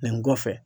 Nin kɔfɛ